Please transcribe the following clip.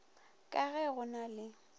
ka ge go na le